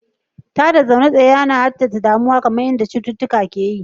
Tada zaune tsaye yana haddasa damuwa kamar yadda cututtuka ke yi.